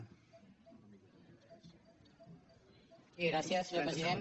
gràcies senyor president